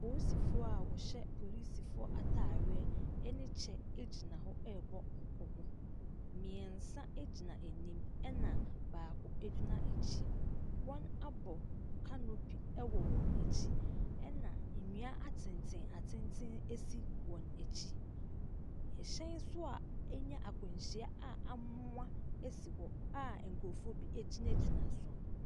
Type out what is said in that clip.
Poosifoɔ a wɔhyɛ polisifoɔ ataadeɛ ne kyɛ gyina hɔ rebɔ nkɔmmɔ. mmiɛnsa gyina anim na baako gyina akyi. Wɔabɔ canopy ɛwɔ wɔn akyi ɛna nnua atentenatenten si wɔn akyi. ℇhyɛn nso a anya akwanhyia a amoa si hɔ a nkurɔfoɔ bi gyinagyina so.